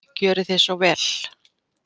Gjörið þið svo vel.